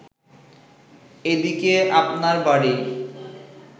এদিকে আপনার বাড়ী